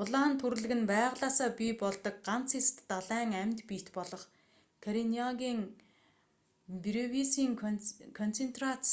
улаан түрлэг нь байгалиасаа бий болдог ганц эст далайн амьд биет болох карениагийн бревисийн концентрац